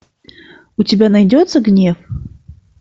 у тебя найдется гнев